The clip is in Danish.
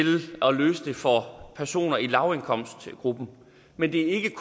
at løse det for personer i lavindkomstgruppen men det er